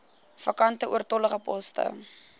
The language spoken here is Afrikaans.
vakante oortollige poste